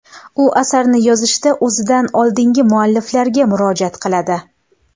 U asarni yozishda o‘zidan oldingi mualliflarga murojaat qiladi.